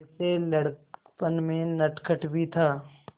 वैसे लड़कपन में नटखट भी था